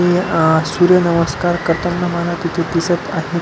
अह सूर्य नमस्कार करताना मला तिथे दिसत आहेत.